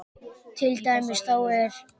Til dæmis þá er